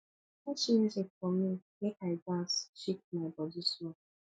put music for me make i dance shake my body small